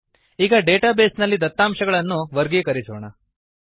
ಈಗ database ನಲ್ಲಿ ದತ್ತಾಂಶಗಳನ್ನುಡೇಟಾ ವರ್ಗೀಕರಿಸೋಣ